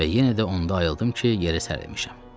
Və yenə də onda ayıldım ki, yerə sərilmişəm.